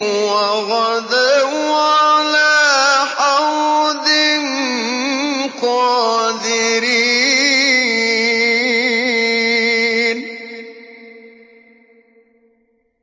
وَغَدَوْا عَلَىٰ حَرْدٍ قَادِرِينَ